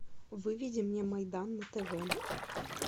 выведи мне майдан на тв